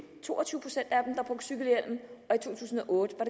to tusind og otte